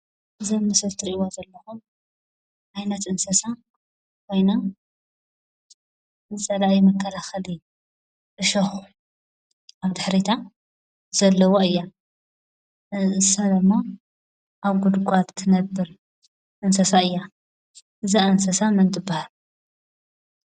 ዘምስልትርእዋ ዘለሆም ኣይነት እንሰሳ ወይና ዘለእይ መገላ ኸሊ እሾኹ ኣብ ድኅሪታ ዘለዋ እያ ሰለማ ኣብ ጕድጓት እትነብር እንሰሳ እያ ዝእንሰሳ መን ትበሃል?